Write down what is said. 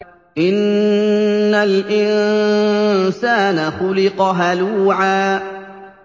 ۞ إِنَّ الْإِنسَانَ خُلِقَ هَلُوعًا